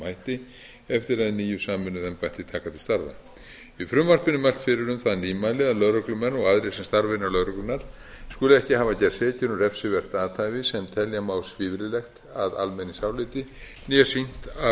hætti eftir að hin nýju sameinuðu embætti taka til starfa í frumvarpinu er mælt fyrir um það nýmæli að lögreglumenn og aðrir sem starfa innan lögreglunnar skuli ekki hafa gerst sekir um refsivert athæfi sem telja má svívirðilegt að almenningsáliti né sýnt af